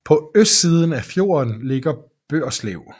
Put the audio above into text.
På østiden af fjorden ligger Børselv